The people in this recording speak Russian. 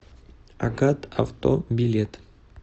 агат авто билет